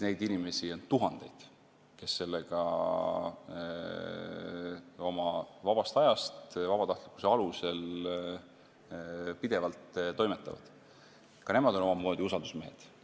Neid inimesi on tuhandeid, kes sellega oma vabast ajast vabatahtlikkuse alusel pidevalt toimetavad, ka nemad on omamoodi usaldusmehed.